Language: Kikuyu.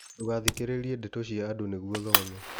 Ndũgathikĩrĩrie ndeto cia andũ nĩguo thome.